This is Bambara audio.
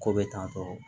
Ko bɛ tan tɔ